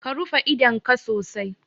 Ka rufe idonka sosai